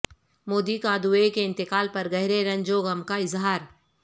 مودی کا دوے کے انتقال پر گہرے رنج و غم کا اظہار